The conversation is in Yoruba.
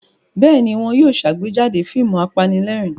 Bẹ́ẹ̀ ni, wọ́n yóò ṣàgbéjáde fíìmù apanílẹ̀rín.